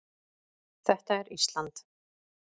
Þetta er Ísland.